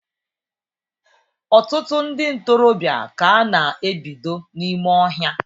Ọtụtụ ndị ntorobịa ka a na-ebido n'ime ọhịa